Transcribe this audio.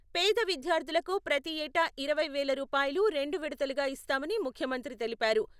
పేద విద్యార్థులకు ప్రతి ఏటా ఇరవై వేల రూపాయలు, రెండు విడతలుగా ఇస్తామని ముఖ్యమంత్రి తెలిపారు.